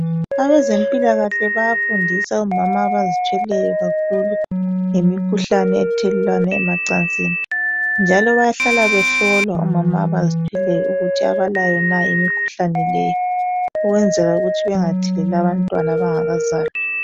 Abezempilakahle bayafundisa omama abazithweleyo kakhulu ngemikhuhlane ethelelwana emacansini njalo bayahlala behlolwa omama abazithweleyo ukuthi abalayo na imikhuhlane leyi ukwenzela ukuthi bengatheleli abantwana abangakazalwa.